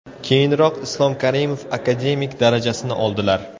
Keyinroq Islom Karimov akademik darajasini oldilar.